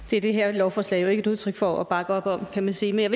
det er det her lovforslag jo ikke et udtryk for at bakke op om kan man sige men